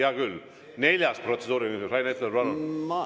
Hea küll, neljas protseduuriline küsimus, Rain Epler, palun!